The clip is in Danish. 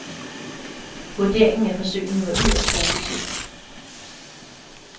Vurderingen af forsøgene var yderst positiv.